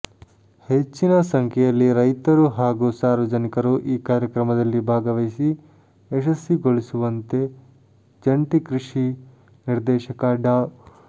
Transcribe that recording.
ಹೆಚ್ಚಿನ ಸಂಖ್ಯೆಯಲ್ಲಿ ರೈತರು ಹಾಗೂ ಸಾರ್ವಜನಿಕರು ಈ ಕಾರ್ಯಕ್ರಮದಲ್ಲಿ ಭಾಗವಹಿಸಿ ಯಶಸ್ಸಿಗೊಳಿಸುವಂತೆ ಜಂಟಿ ಕೃಷಿ ನಿದರ್ೇಶಕ ಡಾ